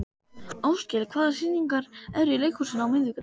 Áskell, hvaða sýningar eru í leikhúsinu á miðvikudaginn?